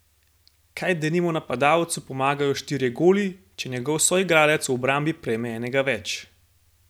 Kaj denimo napadalcu pomagajo štirje goli, če njegov soigralec v obrambi prejme enega več?